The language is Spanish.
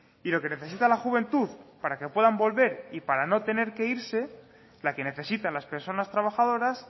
y lo que necesita la juventud para que puedan volver y para no tener que irse la que necesitan las personas trabajadoras